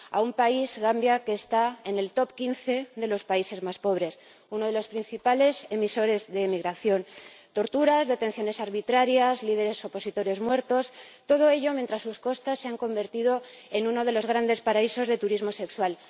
A un país, Gambia, que está en el top 15 de los países más pobres, uno de los principales emisores de emigración. Torturas, detenciones arbitrarias, líderes opositores muertos, todo ello mientras sus costas se han convertido en uno de los grandes paraísos de turismo sexual.